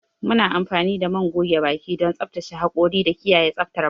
Muna amfani da man goge baki don tsaftace hakora da kiyaye tsaftar baki.